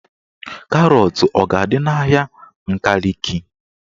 Karọt a ga-adị n'ahịa Nkaliki?